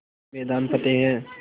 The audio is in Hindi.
हर मैदान फ़तेह